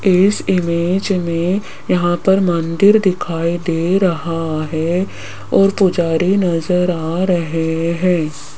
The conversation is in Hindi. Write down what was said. इस इमेज में यहां पर मंदिर दिखाई दे रहा है और पुजारी नज़र आ रहे हैं।